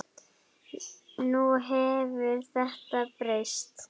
Nú hefur þetta breyst.